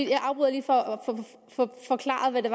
jeg afbryder lige for at få forklaret hvad det